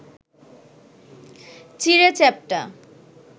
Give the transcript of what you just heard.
চিঁড়ে চ্যাপ্টা